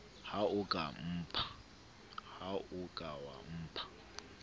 ha o ka wa mpha